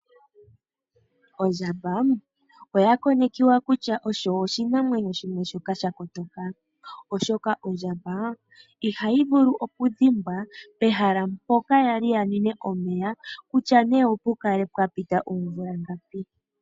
Ondjamba oya konekiwa kutya osho oshinamwenyo shimwe shoka sha kotoka, oshoka ondjamba ihayi vulu okudhimbwa pehala mpoka yali yanwine omeya, kutya nee opukale pwapita oomvula ngapi.